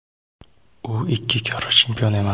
U ikki karra chempion emas.